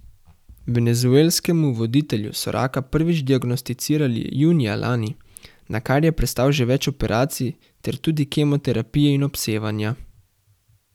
Venezuelskemu voditelju so raka prvič diagnosticirali junija lani, nakar je prestal že več operacij ter tudi kemoterapije in obsevanja.